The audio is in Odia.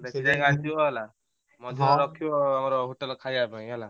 ମଝିରେ ରଖିବ ହେଲା ହୋଟେଲ ରେ ଖାଇବା ପାଇଁ ହେଲା।